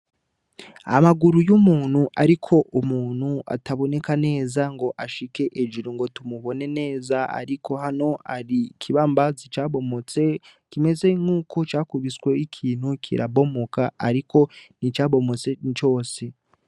Amaguru y'umuntu ariko umuntu ataboneka neza ngo ashike hejuru ngo tumubone neza ariko hano hari ikibambazi cabomotse kimeze nkuko cakubiswe ikintu kirabomoka ariko nticabomotse cose.